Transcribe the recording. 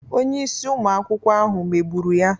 Onye isi ụmụ akwụkwọ ahụ megburu ya.